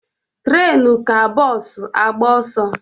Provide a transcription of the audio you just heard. Trenu ka bos agba oso